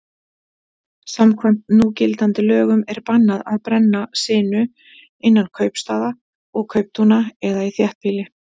Samkvæmt núgildandi lögum er bannað að brenna sinu innan kaupstaða og kauptúna eða í þéttbýli.